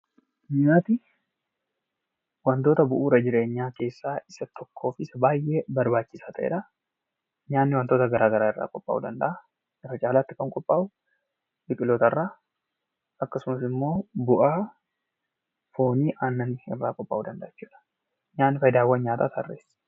Nyaati wantoota bu'uura jireenyaa keessaa isa tokkoo fi isa baay'ee barbaachisaa ta'edhaa. Nyaanni wantoota garaa garaa irraa qophaa'uu danda'aa. Irra caalaatti kan qophaa'u biqilootarrraa akkasumas immoo bu'aa foonii fi aannanii irraa qophaa'uu danda'a jechuudha. Nyaanni faayidaawwan nyaataa tarreessi.